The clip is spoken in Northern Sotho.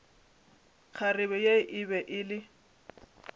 kgarebe ye e be e